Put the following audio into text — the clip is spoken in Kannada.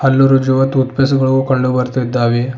ಹಲ್ಲು ಉಜ್ಜುವ ಟೂತ್ ಪೇಸ್ಟ್ ಗಳು ಕಂಡು ಬರ್ತೀದ್ದಾವೆ.